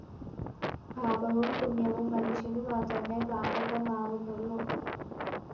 പാപവും പുണ്യവും മനുഷ്യനുമാത്രമേ ബാധകമാവുന്നുള്ളൂ